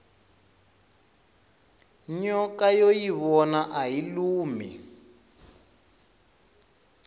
nyoka yo yivona ayi lumi